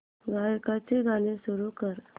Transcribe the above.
गायकाचे गाणे सुरू कर